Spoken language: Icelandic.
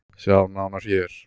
Sjá nánar hér.